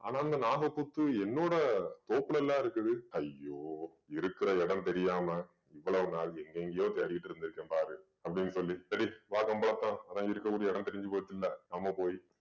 ஆனா அந்த நாகப்புத்து என்னோட தோப்புலல இருக்குது ஐயோ இருக்கிற இடம் தெரியாம இவ்வளவு நாள் எங்கெங்கேயோ தேடிட்டு இருந்திருக்கேன் பாரு அப்படின்னு சொல்லி சரி வழக்கம் போலத்தான் அதான் இருக்கக்கூடிய இடம் தெரிஞ்சு போச்சுல்ல நம்ம போய்